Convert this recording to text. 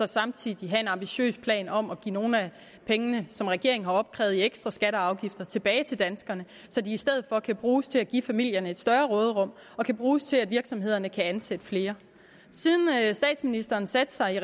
samtidig have en ambitiøs plan om at give nogle af pengene som regeringen har opkrævet i ekstra skatter og afgifter tilbage til danskerne så de i stedet for kan bruges til at give familierne et større råderum og kan bruges til at virksomhederne kan ansætte flere siden statsministeren satte sig i